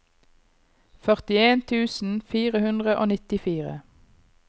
førtien tusen fire hundre og nittifire